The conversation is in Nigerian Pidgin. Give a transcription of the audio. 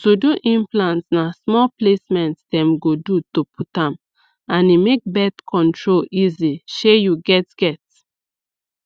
to do implant na small placement dem go do to put am and e make birth control easy shey you get get